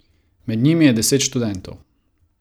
Med njimi je deset študentov.